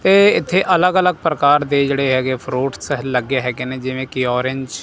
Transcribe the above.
ਇਹ ਇੱਥੇ ਅਲੱਗ ਅਲੱਗ ਪ੍ਰਕਾਰ ਦੇ ਜਿਹੜੇ ਹੈਗੇ ਫਰੂਟਸ ਲੱਗੇ ਹੈਗੇ ਨੇ ਜਿਵੇਂ ਕਿ ਔਰੇਂਜ ।